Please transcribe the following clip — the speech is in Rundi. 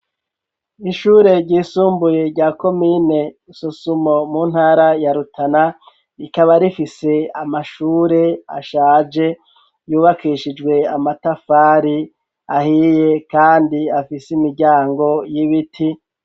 Ishure ryisumbuye rya komine Sosumo mu ntara ya Rutana, rikaba rifise amashure ashaje ,yubakishijwe amatafari ahiye kandi afise imiryango y'ibiti.